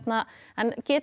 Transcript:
en getur